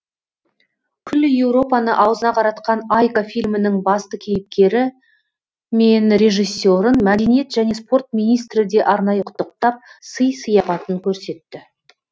күллі еуропаны аузына қаратқан айка фильмінің басты кейіпкері мен режиссерін мәдениет және спорт министрі де арнайы құттықтап сый сияпатын көрсетті